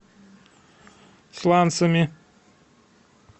сланцами